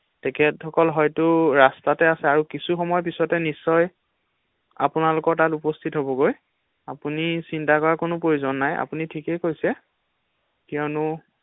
তেখেতসকল হয়তো ৰাষ্টাটে আছে আৰু কিছু সময় পিছতে নিশ্চয় আপোনালোকৰ তাত উপস্হিত হ’বগৈ ৷আপুনি চিন্তা কৰাৰ কোনো প্ৰয়োজন নাই ৷আপুনি ঠিকেই কৈছে৷কিয়নো?